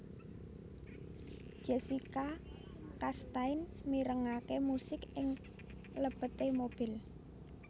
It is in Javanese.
Jessica Chastain mirengake musik ing lebete mobil